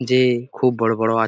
যে খুব বড়ো বড়ো আ--